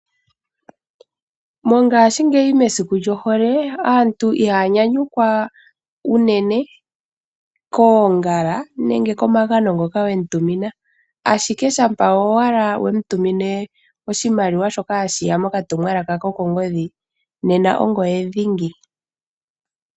Mongashingeyi mesiku lyohole aantu iiha nyanyukwa unene koongala nenge komagano ngoka we mu tumina, ashike shampa owala we mu tumine oshimaliwa shoka hashi ya mokatumwalaka kokongodhi nena ongoye dhingi.